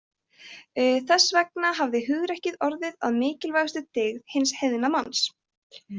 Þess vegna hafi hugrekki orðið að mikilvægustu dyggð hins heiðna manns.